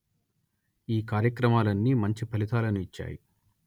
ఈ కార్యక్రమాలన్నీ మంచి ఫలితాలను ఇచ్చాయి